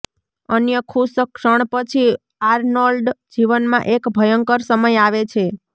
અન્ય ખુશ ક્ષણ પછી આર્નોલ્ડ જીવનમાં એક ભયંકર સમય આવે છે